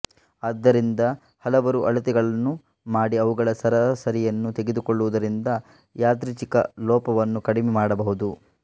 ಆದ್ದರಿಂದ ಹಲವರು ಅಳತೆಗಳನ್ನು ಮಾಡಿ ಅವುಗಳ ಸರಾಸರಿಯನ್ನು ತೆಗೆದುಕೊಳ್ಳುವುದರಿಂದ ಯಾದೃಚ್ಛಿಕ ಲೋಪವನ್ನು ಕಡಿಮೆ ಮಾಡಬಹುದು